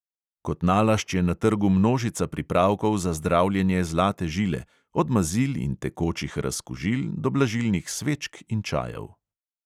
Kot nalašč je na trgu množica pripravkov za zdravljenje zlate žile, od mazil in tekočih razkužil do blažilnih svečk in čajev.